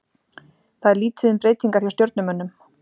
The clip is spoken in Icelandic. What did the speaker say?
Það er lítið um breytingar hjá Stjörnumönnum.